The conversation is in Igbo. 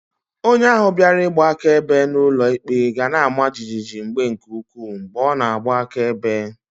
Onye ahu biara igba akaebe n'ulo ikpe gana-ama jijiji mgbe nke ukwu mgbe o na-agba akaebe.